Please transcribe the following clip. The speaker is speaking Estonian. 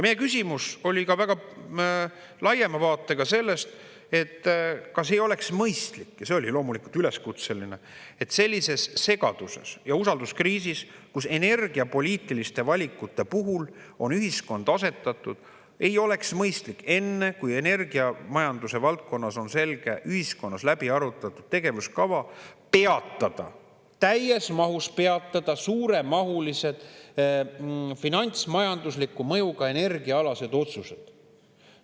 Meie küsimus oli ka laiema vaatega sellest, kas ei oleks mõistlik – ja see oli loomulikult üleskutseline – sellises segaduses ja usalduskriisis, kuhu ühiskond on energiapoliitiliste valikute puhul asetatud, seniks, kuni energiamajanduse valdkonnas on selge ühiskonnas läbi arutatud tegevuskava, täies mahus peatada suuremahulised finantsmajandusliku mõjuga energiaalased otsused.